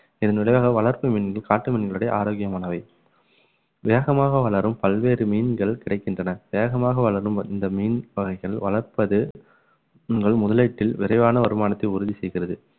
இதன் விளைவாக வளர்ப்பு மீன்கள் காட்டு மீன்களுடைய ஆரோக்கியமானவை வேகமாக வளரும் பல்வேறு மீன்கள் கிடைக்கின்றன வேகமாக வளரும் இந்த மீன் வகைகள் வளர்ப்பது உங்கள் முதலீட்டில் விரைவான வருமானத்தை உறுதி செய்கிறது